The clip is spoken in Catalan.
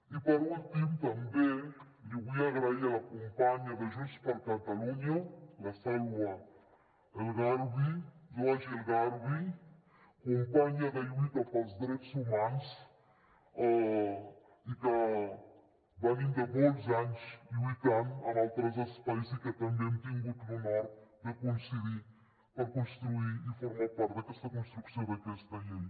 i per últim també vull donar les gràcies a la companya de junts per catalunya la saloua laouaji el gharbi companya de lluita pels drets humans i que venim de molts anys de lluita en altres espais i que també hem tingut l’honor de coincidir per construir i formar part d’aquesta construcció d’aquesta llei